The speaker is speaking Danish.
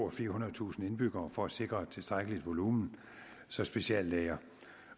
og firehundredetusind indbyggere for at sikre et tilstrækkeligt volumen så speciallæger